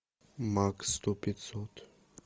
макс сто пятьсот